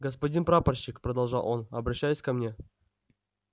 господин прапорщик продолжал он обращаясь ко мне